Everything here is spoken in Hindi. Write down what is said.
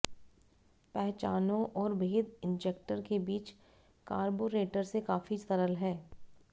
पहचानो और भेद इंजेक्टर के बीच कार्बोरेटर से काफी सरल है